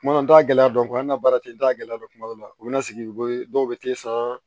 Kuma n t'a gɛlɛya dɔn ko an ka baara tɛ n t'a gɛlɛya dɔn kuma dɔ la u bɛ na sigi ko dɔw bɛ t'i sara